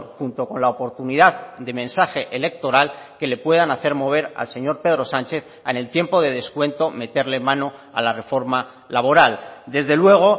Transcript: junto con la oportunidad de mensaje electoral que le puedan hacer mover al señor pedro sánchez en el tiempo de descuento meterle mano a la reforma laboral desde luego